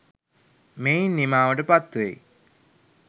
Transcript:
මෙයින් නිමාවට පත්වෙයි.